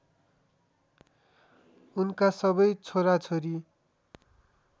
उनका सबै छोराछोरी